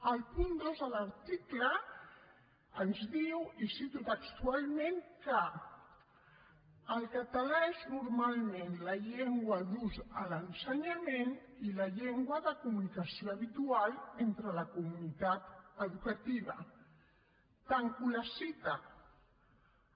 al punt dos de l’article ens diu i ho cito textualment que el català és normalment la llengua d’ús a l’ensenyament i la llengua de comunicació habitual entre la comunitat educativa tanco la cita